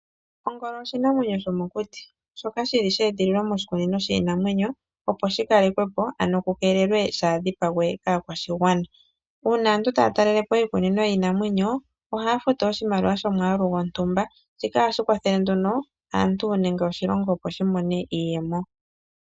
Ongolo oshinamwenyo shomokuti shoka shili sha edhililwa moshikunino shiinamwenyo, opo shikale kwe po ano ku keelelwe shaadhipagwe kaakwashigwana. Uuna aantu taya talele po iikunino yiinamwenyo ohaya futu oshimaliwa shomwaalu gontumba, shika ohashi kwathele aantu nenge oshilongo, opo shi mone iiyemo.